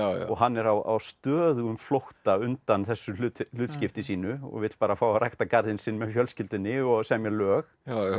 og hann er á stöðugum flótta undan þessu hlutskipti sínu og vill bara fá að rækta garðinn sinn með fjölskyldunni og semja lög